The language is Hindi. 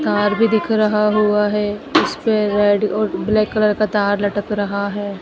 तार भी दिख रहा हुआ है उस पे रेड और ब्लैक कलर का तार लटक रहा है।